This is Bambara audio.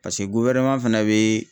paseke goloma fana bee.